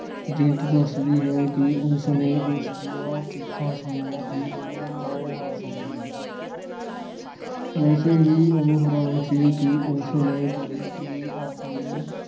ਜੀਨਤ ਦੱਸਦੀ ਹੈ ਕਿ ਉਸ ਨੇ ਉਸ ਦੀਆਂ ਚੀਕਾਂ ਸੁਣੀਆਂ ਤੇ ਉਹ ਰਹਿ ਨਾ ਸਕੀ। ਵੈਸੇ ਵੀ ਉਹ ਹੈਰਾਨ ਸੀ ਕਿ ਉਸ ਨੇ ਕਦੇ ਵੀ ਆਪਣੀ